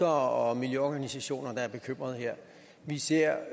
og miljøorganisationer der er bekymrede her vi ser